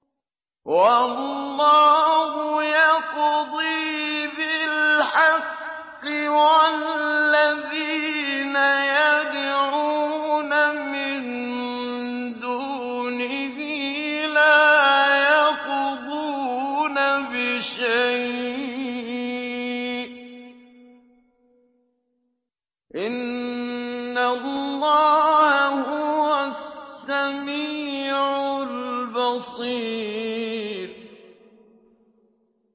وَاللَّهُ يَقْضِي بِالْحَقِّ ۖ وَالَّذِينَ يَدْعُونَ مِن دُونِهِ لَا يَقْضُونَ بِشَيْءٍ ۗ إِنَّ اللَّهَ هُوَ السَّمِيعُ الْبَصِيرُ